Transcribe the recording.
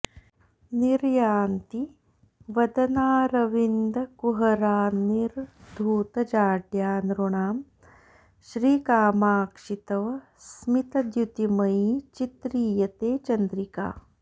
निर्यान्ती वदनारविन्दकुहरान्निर्धूतजाड्या नृणां श्रीकामाक्षि तव स्मितद्युतिमयी चित्रीयते चन्द्रिका